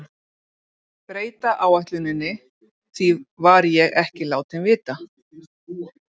Breyta áætluninni, því var ég ekki látinn vita.